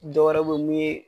Dɔ wɛrɛ be yen mun ye